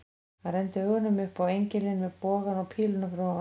Hann renndi augunum upp á engilinn með bogann og píluna fyrir ofan.